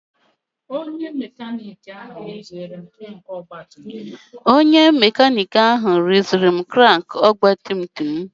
Onye makanik ahụ rụziri m krank ọgbatumtum m.